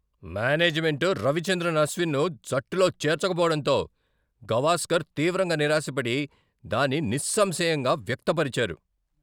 Management Ravichandran అశ్విన్ను జట్టులో చేర్చకపోడంతో గవాస్కర్ తీవ్రంగా నిరాశపడి, దాన్ని నిస్సంశయంగా వ్యక్త పరిచారు.